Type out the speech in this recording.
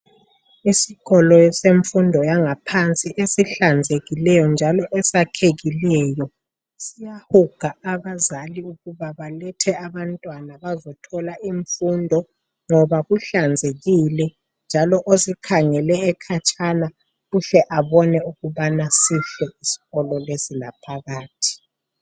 Esikolo esemfundo yangaphansi esihlanzekileyo njalo esakhekileyo siyahuga abazali ukuba balethe abantwana bazothola imfundo ngoba kuhlanzekile njalo osikhangele ekhatshana uhle abone ukubana sihle isikolo lesi laphakathi.